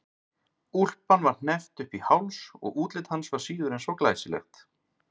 Úlpan var hneppt upp í háls og útlit hans var síður en svo glæsilegt.